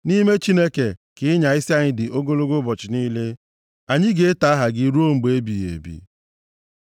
Nʼime Chineke ka ịnya isi anyị dị ogologo ụbọchị niile, anyị ga-eto aha gị ruo mgbe ebighị ebi. Sela